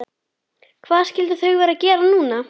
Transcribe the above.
Hvað skyldu þau vera að gera núna?